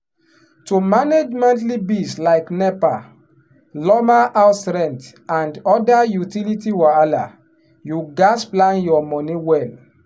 to manage monthly bills like nepa lawma house rent and other utility wahala you gats plan your money well.